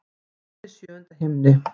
Hún er í sjöunda himni.